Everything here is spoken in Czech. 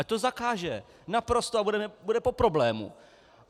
Ať to zakáže naprosto a bude po problému.